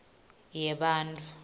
yebantfu